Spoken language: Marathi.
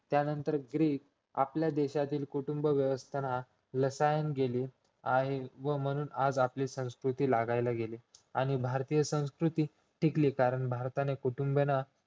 त्यानंतर ग्रीक आपल्या देशातील कुटुंब व्यवस्थांत रासाळ गेली आणि व म्हणून आपली संस्कृती लागायला गेली आणि भारतीय संस्कृती टिकली कारण भारताने कुटुंबाना